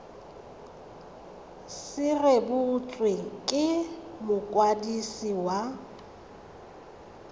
se rebotswe ke mokwadisi wa